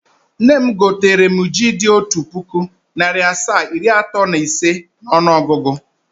Nne m gotere m ji dị otu puku, narị asaa, iri atọ na ise n’ọnụọgụgụ.